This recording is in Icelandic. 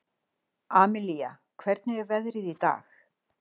Amilía, hvernig er veðrið í dag?